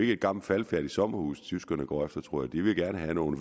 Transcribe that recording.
er et gammelt faldefærdigt sommerhus tyskerne går efter tror jeg de vil gerne have nogle